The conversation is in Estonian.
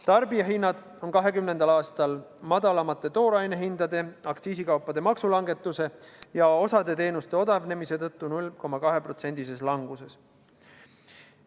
Tarbijahinnad on 2020. aastal madalamate toorainehindade, aktsiisikaupade maksulangetuse ja osa teenuste odavnemise tõttu 0,2%-lises languses.